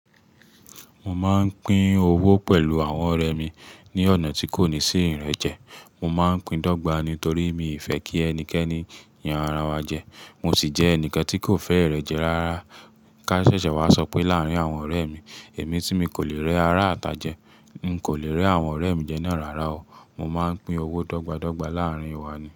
Mo máa ń pín owó pẹ̀lú àwọn ọ̀rẹ́ mi ní ọ̀nà tí kò ní sí ìrẹ́jẹ. Mo máa ń pin dọgba nítorí mi ò fẹ́ kí ẹnikẹ́ni yan ara wa jẹ. Mo sì jẹ́ ẹnikan tí kò fẹ́ ìrẹ́jẹ rárá. Ká ṣẹ́ṣẹ wá sọ pé láàárín àwọn ọ̀rẹ́ mi, èmi tí mi kò lè rẹ arata jẹ, n kò lè rẹ àwọn ọ̀rẹ́ mi jẹ náà rárá o. Mo máa ń pín owó dọ́gba dọ́gba láàárín wa ni.